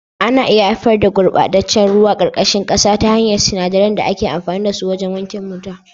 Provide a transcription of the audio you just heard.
Ana iya haifar da gurɓataccen ruwan ƙarƙashin ƙasa ta hanyar sinadarai da ake amfani da su wajen wanke mota.